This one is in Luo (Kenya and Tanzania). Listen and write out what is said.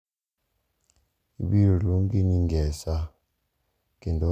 ibiro luongi ni Ngesa kendo ok inyal wuok kuom wachno.